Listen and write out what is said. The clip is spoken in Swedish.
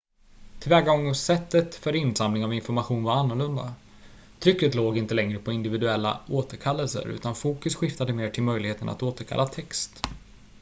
tillvägagångssättet för insamling av information var annorlunda trycket låg inte längre på individuella återkallelser utan fokus skiftade mer till möjligheten att återkalla text